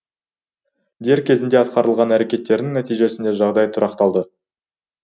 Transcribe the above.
дер кезінде атқарылған әрекеттердің нәтижесінде жағдай тұрақталды